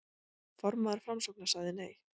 Formaður Framsóknar sagði nei